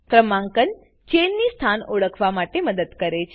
ક્રમાંકન chain ની સ્થાન ઓળખવામા મદદ કરે છે